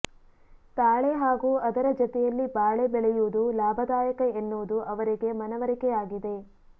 ತಾಳೆ ಹಾಗೂ ಅದರ ಜತೆಯಲ್ಲಿ ಬಾಳೆ ಬೆಳೆಯುವುದು ಲಾಭದಾಯಕ ಎನ್ನುವುದು ಅವರಿಗೆ ಮನವರಿಕೆಯಾಗಿದೆ